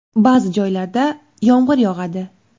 Ba’zi joylarda yomg‘ir yog‘adi.